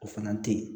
O fana te yen